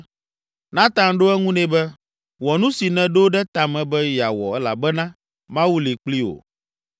Natan ɖo eŋu nɛ be, “Wɔ nu si nèɖo ɖe ta me be yeawɔ elabena Mawu li kpli wò.”